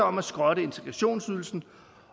om at skrotte integrationsydelsen